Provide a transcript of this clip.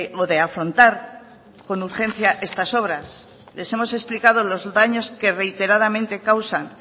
o de afrontar con urgencia estas obras les hemos explicado los daños que reiteradamente causan